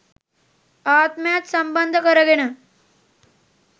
ආත්මයත් සම්බන්ධ කරගෙන